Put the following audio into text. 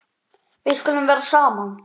Við skulum vera saman.